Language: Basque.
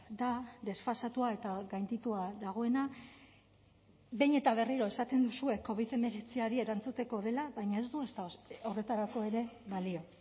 da desfasatua eta gainditua dagoena behin eta berriro esaten duzue covid hemeretziari erantzuteko dela baina ez du horretarako ere balio